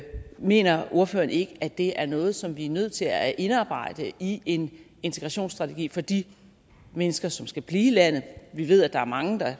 mener ordføreren ikke at det er noget som vi er nødt til at indarbejde i en integrationsstrategi for de mennesker som skal blive i landet vi ved at der er mange der